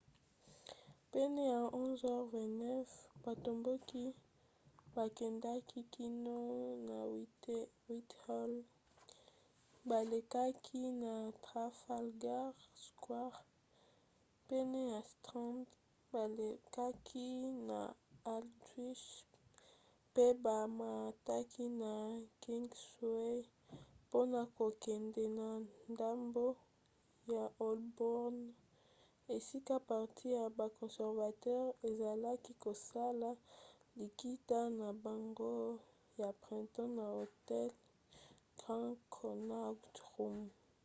pene ya 11:29 batomboki bakendaki kino na whitehall balekaki na trafalgar square pene ya strand balekaki na aldwych pe bamataki na kingsway mpona kokende na ndambo ya holborn esika parti ya ba conservateur ezalaki kosala likita na bango ya printemps na hotel grand connaught rooms